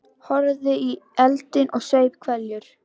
Horfði í eldinn og saup hveljur.